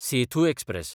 Sethu express